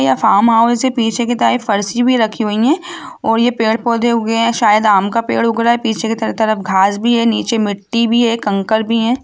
यह फार्महाऊस पीछे की तरफ फर्शी भी रखी हुई है और ये पेड़ पोधे उगे है शायद आम का पेड़ उग रहा है पीछे की तरफ घास भी है नीचे मिट्टी भी है कंकड़ भी है।